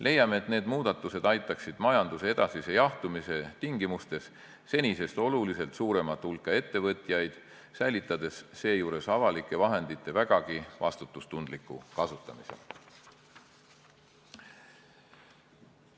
Leiame, et need muudatused aitaksid majanduse edasise jahtumise tingimustes senisest oluliselt suuremat hulka ettevõtjaid, säilitades seejuures avalike vahendite vägagi vastutustundliku kasutamise.